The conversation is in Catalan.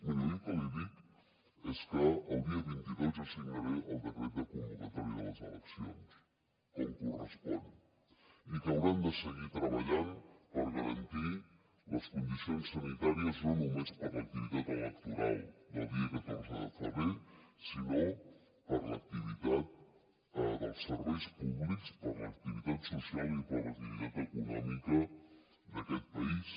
miri jo el que li dic és que el dia vint dos jo signaré el decret de convocatòria de les eleccions com correspon i que hauran de seguir treballant per garantir les condicions sanitàries no només per a l’activitat electoral del dia catorze de febrer sinó per a l’activitat dels serveis públics per a l’activitat social i per a l’activitat econòmica d’aquest país